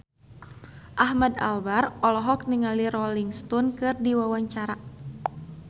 Ahmad Albar olohok ningali Rolling Stone keur diwawancara